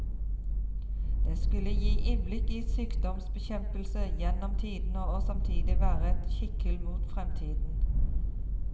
Det skulle gi innblikk i sykdomsbekjempelse gjennom tidene og samtidig være et kikkhull mot fremtiden.